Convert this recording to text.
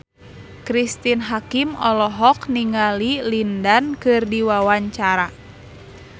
Cristine Hakim olohok ningali Lin Dan keur diwawancara